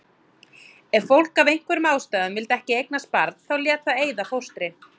Ef fólk af einhverjum ástæðum vildi ekki eignast barn þá lét það eyða fóstri.